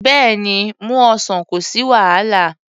Bẹ́ẹ̀ni, mú ọsàn, kò sí wàhálà.